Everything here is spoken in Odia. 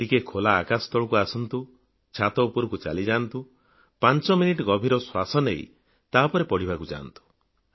ଟିକିଏ ଖୋଲା ଆକାଶ ତଳକୁ ଆସନ୍ତୁ ଛାତ ଉପରକୁ ଚାଲି ଯାଆନ୍ତୁ ପାଂଚ ମିନିଟ୍ ଗଭୀର ଶ୍ୱାସପ୍ରଶ୍ବାସ ନେଇ ତାପରେ ପଢ଼ିବାକୁ ଯାଆନ୍ତୁ